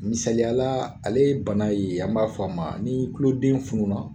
Misaliya la ale bana ye, an b'a f'a ma ni kuloden fununa